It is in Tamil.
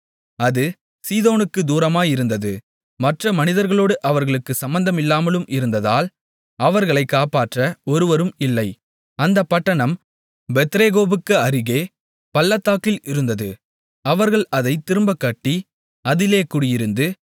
அது சீதோனுக்குத் தூரமாயிருந்தது மற்ற மனிதர்களோடு அவர்களுக்குச் சம்பந்தமில்லாமலும் இருந்ததால் அவர்களைக் காப்பாற்ற ஒருவரும் இல்லை அந்தப் பட்டணம் பெத்ரேகோபுக்கு அருகே பள்ளத்தாக்கில் இருந்தது அவர்கள் அதைத் திரும்பக் கட்டி அதிலே குடியிருந்து